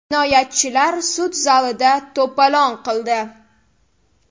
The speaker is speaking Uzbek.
Jinoyatchilar sud zalida to‘polon qildi.